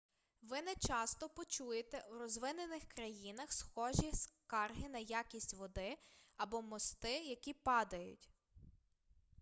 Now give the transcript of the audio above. ви нечасто почуєте у розвинених країнах схожі скарги на якість води або мости які падають